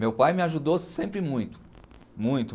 Meu pai me ajudou sempre muito, muito.